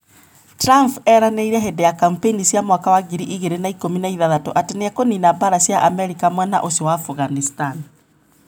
Trumph eraneire hindi ya kampeini cia mwaka wa ngiri igĩrĩ na ikũmi na ithathatũ ati niekunina mbara cia Amerika mwena ucio wa Afghanistan.